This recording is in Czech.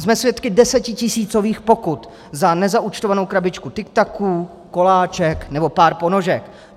Jsme svědky desetitisícových pokut za nezaúčtovanou krabičku tiktaků, koláček nebo pár ponožek.